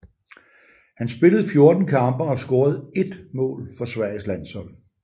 Han spillede 14 kampe og scorede ét mål for Sveriges landshold